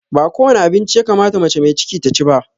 Ba kowane abinci ya kamata mace mai ciki ta ci ba